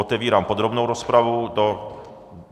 Otevírám podrobnou rozpravu.